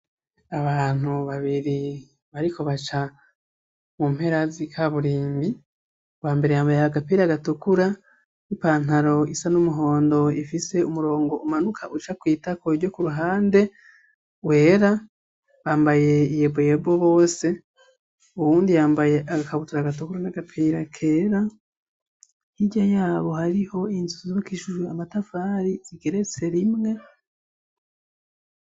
Abantu babiri bariko baca mu mperazi ka burimbi wa mbere yambaye agapira gatukura n'ipantaro isa n'umuhondo ifise umurongo umanuka uca kwita kueiryo ku ruhande wera bambaye iye bwyebo bose uwundi yambaye agakabutura gu koro n'agapera kera nhirya yabo hariho inzuuzbokishuju amatavari zigeretse rimwe.